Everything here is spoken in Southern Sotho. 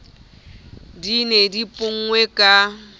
di ne di ponngwe ka